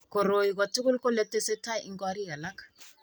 Koroi kotoku kole tese tai eng' korik alak.